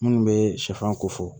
Minnu bɛ sɛfan ko fɔ